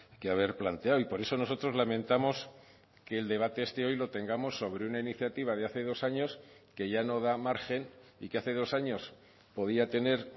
que haber planteado y por eso nosotros lamentamos que el debate este hoy lo tengamos sobre una iniciativa de hace dos años que ya no da margen y que hace dos años podía tener